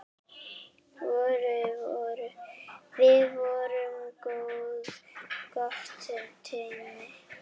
Við vorum gott teymi.